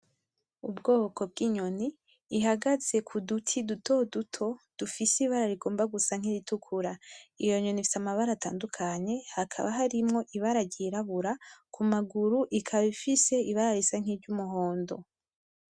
Ubwoko bw'inyoni ihagaze ku duti duto duto, dufise ibara rigomba gusa nkiritukura. Iyo nyoni ifise amabara atandukanye, hakaba harimwo ibara ryirabura, ku maguru ikaba ifise ibara risa nkiry'umuhondo.